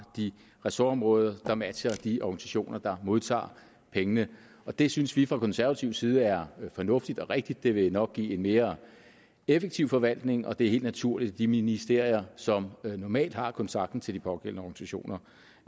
de ressortområder som matcher de organisationer der modtager pengene det synes vi fra konservativ side er fornuftigt og rigtigt det vil nok give en mere effektiv forvaltning og det er helt naturligt at de ministerier som normalt har kontakten til de pågældende organisationer